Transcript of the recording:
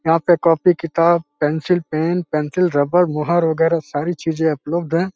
यहाँ पे कॉपी किताब पैन्सिल पेन पेन्सिल रबर मुहर वगैरे सारी चिजे उपलब्ध हैं।